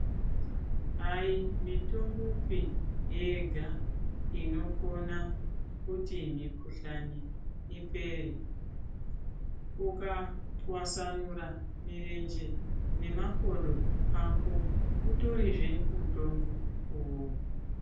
Ayi mitombopi yega inokona kuti mukhuhlani ipere ukatwasanura mirenje nemakodo ako utotizvevmutombo uwowo